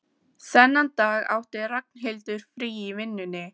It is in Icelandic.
Þennan dag átti Ragnhildur frí í vinnunni.